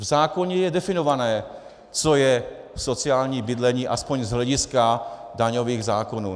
V zákoně je definované, co je sociální bydlení aspoň z hlediska daňových zákonů.